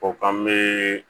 O k'an bɛ